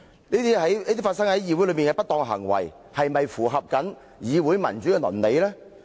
這些發生在議會內的不當行為，是否符合議會民主的倫理？